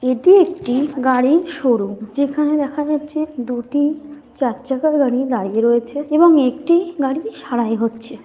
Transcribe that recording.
এটি একটি গাড়ির শোরুম যেখানে দেখা যাচ্ছে দুটি চার চাকার গাড়ি দাঁড়িয়ে রয়েছে এবং একটি গাড়ি সারাই হচ্ছে।